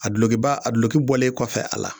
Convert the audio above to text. A dulokiba a duloki bɔlen kɔfɛ a la